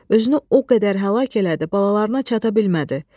Özünü o qədər həlak elədi, balalarına çata bilmədi.